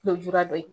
Lujura dɔ ye